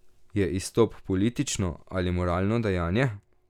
Je izstop politično ali moralno dejanje?